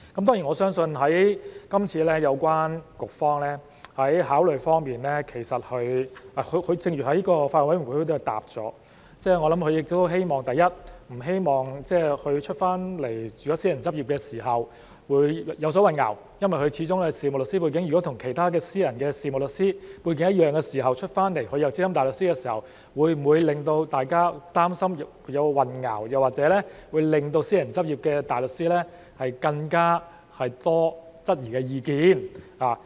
當然我相信今次政府當局在考慮時，正如他們在法案委員會的答覆，我想，第一，他們不希望有關人士離職後在外面轉為私人執業時會有所混淆，因為有關人士始終是事務律師背景，與其他的私人事務律師背景一樣，但他離職後在外執業仍是資深大律師的身份，會否令大家擔心或有混淆，或令私人執業的大律師有更多質疑的意見。